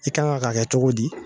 I kan ŋa k'a kɛ cogo di?